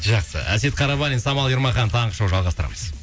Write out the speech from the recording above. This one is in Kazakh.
жақсы әсет қарабалин самал ермахан таңғы шоу жалғастырамыз